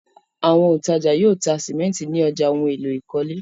Àwọn òǹtajà yóò ta sìmẹ́ńtì ní ọjà ohun-èlò ìkọ́lé.